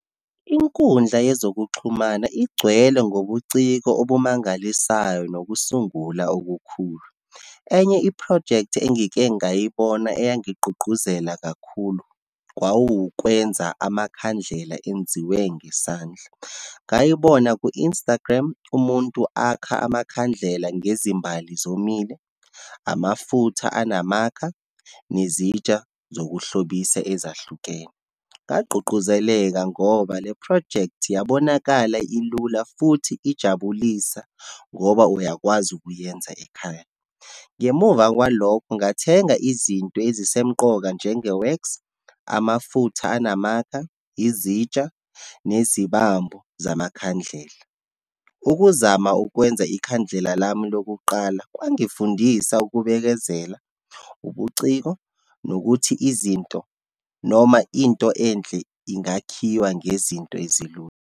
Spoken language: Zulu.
Inkundla yezokuxhumana igcwele ngobuciko obumangalisayo, nokusungula okukhulu. Enye iphrojekthi engike ngayibona eyayingigqugquzela kakhulu, kwawukwenza amakhandlela enziwe ngesandla. Ngayibona ku-Instagram, umuntu akha amakhandlela ngezimbali zomile, amafutha anamakha, nezintsha zokuhlobisa ezahlukene. Ngagqugquzeleka ngoba le project yabonakala ilula futhi ijabulisa, ngoba uyakwazi ukuyenza ekhaya. Ngemuva kwalokho, ngathenga izinto ezisemqoka njenge wax, amafutha anamakha, izitsha, nezibambo zamakhandlela. Ukuzama ukwenza ikhandlela lami lokuqala, kwangifundisa ukubekezela, ubuciko, nokuthi izinto noma into enhle ingakhiwa ngezinto ezilula.